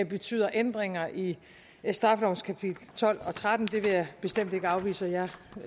betyder ændringer i straffelovens kapitel tolv og tretten vil jeg bestemt ikke afvise og